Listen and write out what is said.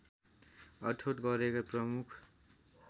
अठोट गरेका प्रमुख